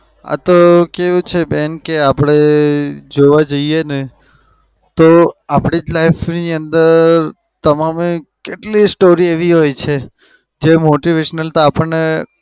આતો કેવું છે બેન કે આપડે જોવા જઈએને તો આપડી જ life ની અંદર તમામે કેટલીય story એવી હોય છે જે motivation આપણને